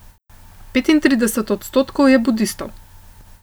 Petintrideset odstotkov je budistov.